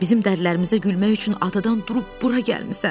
Bizim dərdlərimizə gülmək üçün adadan durub bura gəlmisən.